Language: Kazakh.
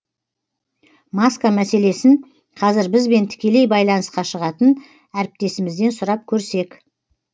маска мәселесін қазір бізбен тікелей байланысқа шығатын әріптесімізден сұрап көрсек